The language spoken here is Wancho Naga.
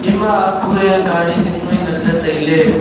ama kuye gari jing nui ngan le taile.